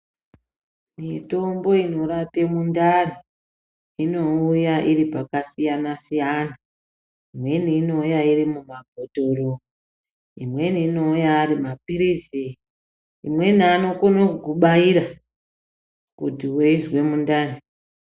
Mitombo inorape mundani nouya iri pakasiyana siyana. Imweni inouya iri mumabhotoro, imweni inouya ari maphirizi, imweni anokono kukubaira kuti weizwe mundani.